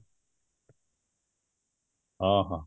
ହଁ, ହଁ